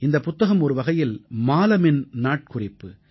இந்தப் புத்தகம் ஒருவகையில் மாலமின் நாட்குறிப்பு